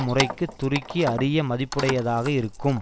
முறைக்கு துருக்கி அரிய மதிப்புடையதாக இருக்கும்